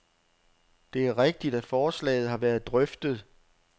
Det er rigtigt, at forslaget har været drøftet.